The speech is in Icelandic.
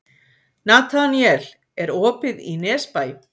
Nataníel, er opið í Nesbæ?